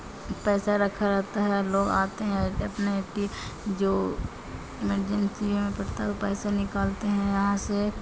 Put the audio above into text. पैसा रखा रहता है लोग आते है अपने की जो इमरजेंसी में पड़ता है वो पैसा निकालते है यहां से।